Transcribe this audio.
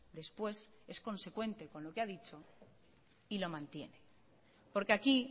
después es consecuente con lo que ha dicho y lo mantiene porque aquí